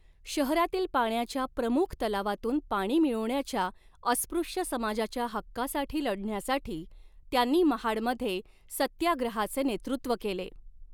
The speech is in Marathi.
शहरातील पाण्याच्या प्रमुख तलावातून पाणी मिळवण्याच्या अस्पृश्य समाजाच्या हक्कासाठी लढण्यासाठी, त्यांनी महाडमध्ये सत्याग्रहाचे नेतृत्व केले.